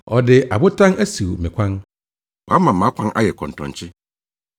Ɔde abotan asiw me kwan; wama mʼakwan ayɛ kɔntɔnkye.